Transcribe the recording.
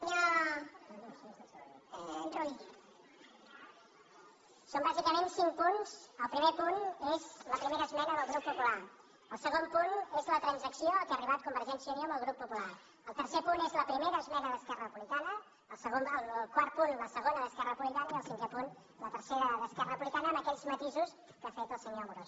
són bàsicament cinc punts el primer punt és la primera esmena del grup popular el segon punt és la transac·ció a què ha arribat convergència i unió amb el grup popular el tercer punt és la primera esmena d’esquerra republicana el quart punt la segona d’esquerra repu·blicana i el cinquè punt la tercera d’esquerra republi· cana amb aquells matisos que ha fet el senyor amorós